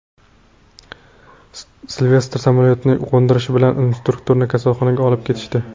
Silvestr samolyotni qo‘ndirishi bilan instruktorni kasalxonaga olib ketishdi.